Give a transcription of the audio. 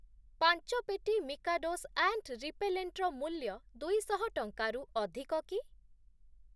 ପାଞ୍ଚ ପେଟି Mikado's ant repellent ର ମୂଲ୍ୟ ଦୁଇଶହ ଟଙ୍କାରୁ ଅଧିକ କି?